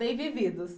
Bem vividos?